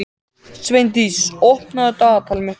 Sveindís, opnaðu dagatalið mitt.